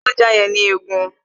Fún ajá yẹn ní egun